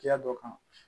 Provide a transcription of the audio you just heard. Kiya dɔ kan